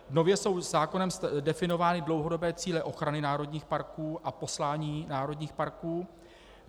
Nově jsou zákonem definovány dlouhodobé cíle ochrany národních parků a poslání národních parků.